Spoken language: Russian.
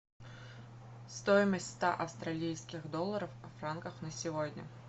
стоимость ста австралийских долларов в франках на сегодня